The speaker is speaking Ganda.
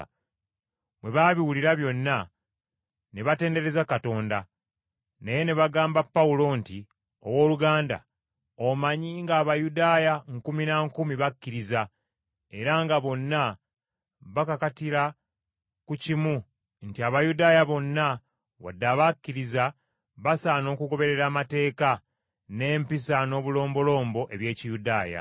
Bwe baabiwulira byonna ne batendereza Katonda, naye ne bagamba Pawulo nti, “Owooluganda, omanyi ng’Abayudaaya nkumi na nkumi bakkiriza, era nga bonna bakakatira ku kimu nti Abayudaaya bonna wadde abakkiriza basaana okugoberera amateeka, n’empisa, n’obulombolombo, eby’Ekiyudaaya.